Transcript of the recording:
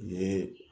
Ye